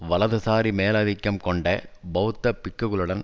வலதுசாரி மேலதிக்கம் கொண்ட பெளத்த பிக்குகளுடன்